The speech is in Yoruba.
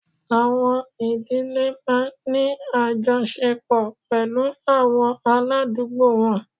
Àwọ̀n ìdílé máa ń ní àjọṣepọ̀ pẹ̀lú àwọn aládùúgbò wọn